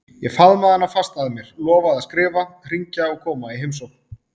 Ég faðmaði hana fast að mér, lofaði að skrifa, hringja og koma í heimsókn.